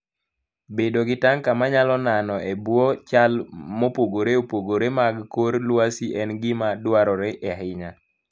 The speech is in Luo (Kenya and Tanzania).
Bedo gi tanka manyalo nano e bwo chal mopogore opogore mag kor lwasi en gima dwarore ahinya.